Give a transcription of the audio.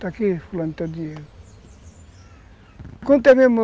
Está aqui, fulano, teu dinheiro